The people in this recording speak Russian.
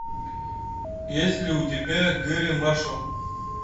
есть ли у тебя гэрри маршалл